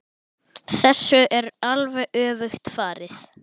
Þessu er alveg öfugt farið.